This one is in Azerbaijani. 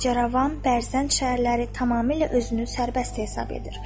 Bacaravan, Bərzənd şəhərləri tamamilə özünü sərbəst hesab edir.